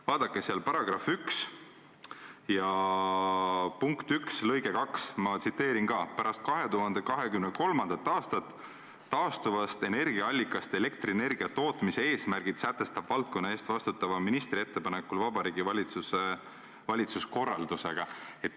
Vaadake § 1 punkti 1 lõiget 2: "Pärast 2023. aastat taastuvast energiaallikast elektrienergia tootmise eesmärgid sätestab valdkonna eest vastutava ministri ettepanekul Vabariigi Valitsus korraldusega.